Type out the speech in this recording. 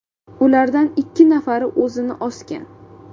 Ulardan ikki nafari o‘zini osgan.